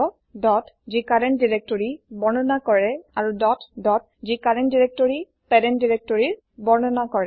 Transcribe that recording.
dot যি current directory বৰ্ণনা কৰে আৰু ডট ডট যি কাৰেন্ত দাইৰেক্তৰিৰ পেৰেন্ত দাইৰেক্তৰি বৰ্ণনা কৰে